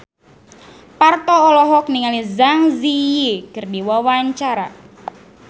Parto olohok ningali Zang Zi Yi keur diwawancara